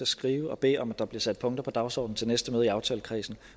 skrive og bede om at der bliver sat punkter på dagsordenen til næste møde i aftalekredsen